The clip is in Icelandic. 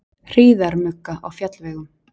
Hríðarmugga á fjallvegum